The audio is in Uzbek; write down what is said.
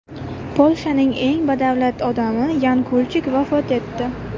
Polshaning eng badavlat odami Yan Kulchik vafot etdi.